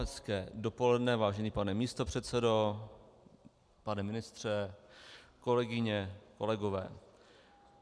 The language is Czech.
Hezké dopoledne, vážený pane místopředsedo, pane ministře, kolegyně, kolegové.